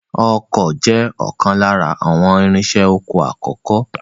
Ọkọ́ jẹ́ ọ̀kan lára àwọn irinṣẹ́ oko àkọ́kọ́